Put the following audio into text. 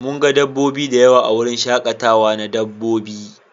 Mun ga dabbobi da yawa a wurin shakatawa na dabbobi.